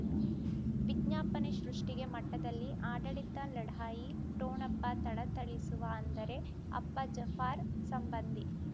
ವಿಜ್ಞಾಪನೆ ಸೃಷ್ಟಿಗೆ ಮಟ್ಟದಲ್ಲಿ ಆಡಳಿತ ಲಢಾಯಿ ಠೊಣಪ ಥಳಥಳಿಸುವ ಅಂದರೆ ಅಪ್ಪ ಜಫಾರ್ ಸಂಬಂಧಿ